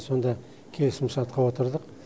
сонда келісімшартқа отырдық